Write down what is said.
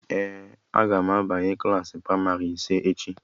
Ee, aga m abanye klaasị pramarị ise echi